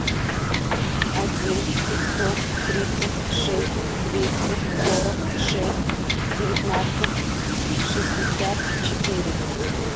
один пятьсот тридцать шесть двести сорок шесть девятнадцать шестьдесят четыре